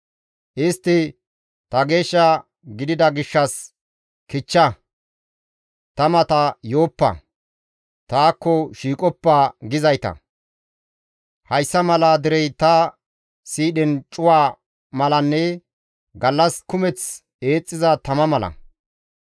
Istti, ‹Ta geesh gidida gishshas kichcha; ta mata yooppa; taakko shiiqoppa› gizayta. Hayssa mala derey ta siidhen cuwa malanne gallas kumeth eexxiza tama mala.